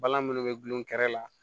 Balan munnu be gulon kɛrɛ la